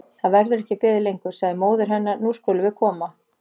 Það verður ekki beðið lengur, sagði móðir hennar, nú skulum við koma.